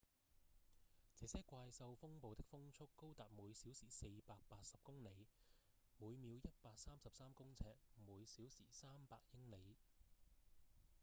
這些怪獸風暴的風速高達每小時480公里每秒133公尺；每小時300英里